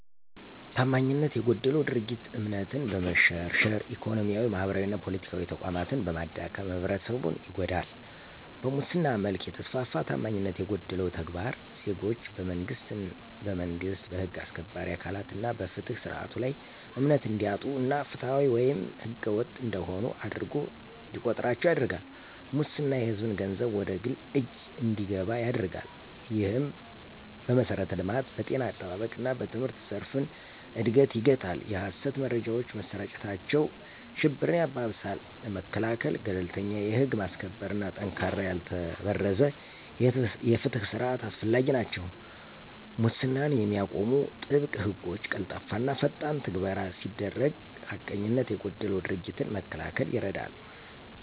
ታማኝነት የጎደለው ድርጊት እምነትን በመሸርሸር፣ ኢኮኖሚያዊ፣ ማህበራዊና ፖለቲካዊ ተቋማትን በማዳከም ህብረተሰቡን ይጎዳል። በሙስና መልክ የተስፋፋ ታማኝነት የጎደለው ተግባር ዜጎች በመንግስት፣ በህግ አስከባሪ አካላት እና በፍትህ ስርዓቱ ላይ እምነት እንዲያጡ እና ፍትሃዊ ወይም ህገወጥ እንደሆኑ አድርጎ እንዲቆጥራቸው ያደርጋል። ሙስና የሕዝብን ገንዘብ ወደ ግል እጅ እንዲገባ ያደርጋል፣ ይህም በመሠረተ ልማት፣ በጤና አጠባበቅ እና በትምህርት ዘርፍን እድገት ይገታል። የሀሰት መረጃዎች መሰራጨታቸው ሽብርን ያባብሳል። ለመከላከል - ገለልተኛ የህግ ማስከበር እና ጠንካራ ያልተበረዘ የፍትህ ስርዓት አስፈላጊ ናቸው። ሙስናን የሚቃወሙ ጥብቅ ሕጎች፣ ቀልጣፋና ፈጣን ትግበራ ሲደረግ ሐቀኝነት የጎደላቸው ድርጊቶችን ለመከላከል ይረዳል።